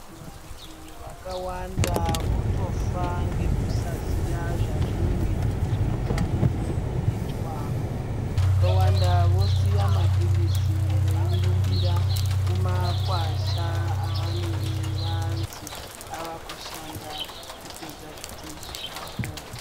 Vantu vakawanda votofa ngekusaziya zvazvinenge zveifaniro kuitwa. Vakawanda vosiya maphirizi veirumbira kumakwasha avanenge vanzi avakushanda kupedza zvitenda zvavo.